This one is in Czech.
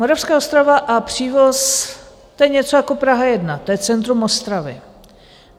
Moravská Ostrava a Přívoz, to je něco jako Praha 1, to je centrum Ostravy.